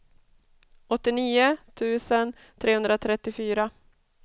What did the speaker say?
åttionio tusen trehundratrettiofyra